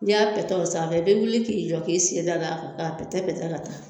N'i y'a pɛtɛ o sanfɛ i be wuli k'i jɔk'i sen da da kan k'a pɛtɛ